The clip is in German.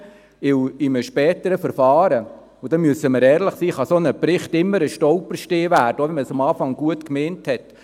Denn in einem späteren Verfahren – da müssen wir ehrlich sein – kann ein solcher Bericht immer ein Stolperstein werden, selbst wenn man es am Anfang gut gemeint hat.